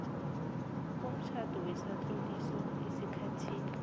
komtjhado besatloliswa esikhathini